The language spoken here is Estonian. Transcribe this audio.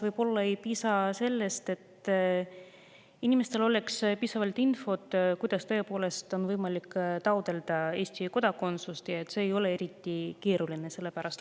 Võib-olla neil inimestel ei ole piisavalt infot, kuidas on võimalik taotleda Eesti kodakondsust ja et see ei ole eriti keeruline.